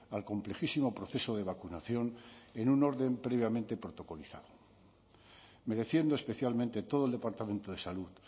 al complejísimo proceso de vacunación en un orden previamente protocolizado mereciendo especialmente todo el departamento de salud